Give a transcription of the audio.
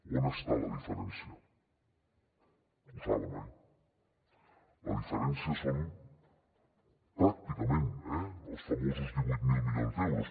on està la diferència ho saben oi la diferència són pràcticament eh els famosos divuit mil milions d’euros